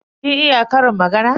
Kin iya ƙarin magana?